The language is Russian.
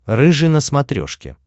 рыжий на смотрешке